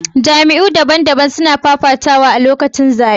Jamiyy'u daban-daban sun fafata a lokacin zaɓe.